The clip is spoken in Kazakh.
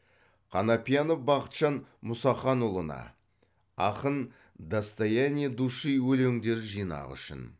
қанапиянов бақытжан мұсаханұлына ақын достояние души өлеңдер жинағы үшін